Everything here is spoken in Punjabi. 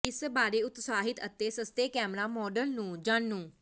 ਇਸ ਬਾਰੇ ਉਤਸਾਹਿਤ ਅਤੇ ਸਸਤੇ ਕੈਮਰਾ ਮਾਡਲ ਨੂੰ ਜਾਣੂ